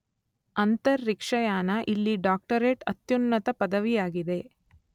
ಅಂತರಿಕ್ಷಯಾನ ಇಲ್ಲಿ ಡಾಕ್ಟರೇಟ್ ಅತ್ಯುನ್ನತ ಪದವಿಯಾಗಿದೆ.